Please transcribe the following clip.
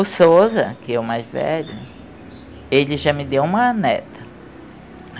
O Souza, que é o mais velho, ele já me deu uma neta.